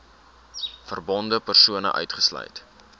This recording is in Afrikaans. verbonde persone uitgesluit